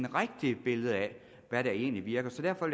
rigtige billede af hvad der egentlig virker derfor